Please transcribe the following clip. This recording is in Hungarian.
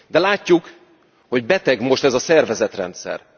De látjuk, hogy beteg most ez a szervezetrendszer.